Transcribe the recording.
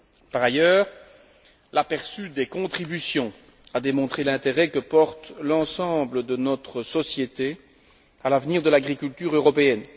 Par ailleurs, l'aperçu des contributions a démontré l'intérêt que porte l'ensemble de notre société à l'avenir de l'agriculture européenne.